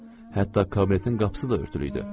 Hətta kabinetin qapısı da örtülü idi.